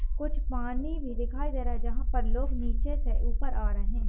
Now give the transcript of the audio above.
कुछ पानी भी दिखायी दे रहा है जहा पर लोग नीचे से ऊपर आ रहे है।